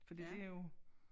For det jo